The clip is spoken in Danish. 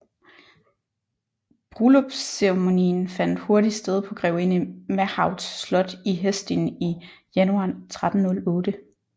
Brulllypsceremonien fandt hurtigt sted på grevinde Mahauts slot i Hesdin i januar 1308